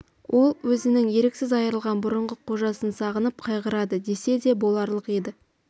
ол өзінің еріксіз айрылған бұрынғы қожасын сағынып қайғырады десе де боларлық еді